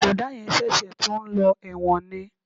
Bọ̀dá yẹn ṣẹ̀ṣẹ̀ tún ń lọ ẹ̀wọ̀n ni